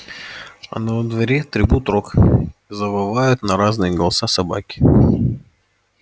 а на дворе трубит рог и завывают на разные голоса собаки